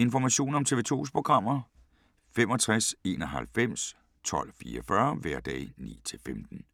Information om TV 2's programmer: 65 91 12 44, hverdage 9-15.